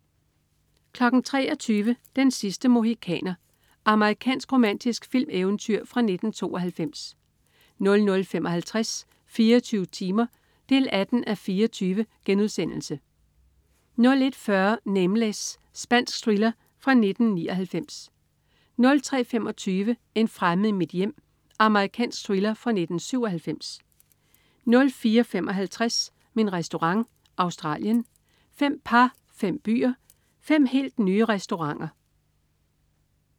23.00 Den sidste mohikaner. Amerikansk romantisk filmeventyr fra 1992 00.55 24 timer 18:24* 01.40 Nameless. Spansk thriller fra 1999 03.25 En fremmed i mit hjem. Amerikansk thriller fra 1997 04.55 Min Restaurant. Australien. Fem par, fem byer, fem helt nye restauranter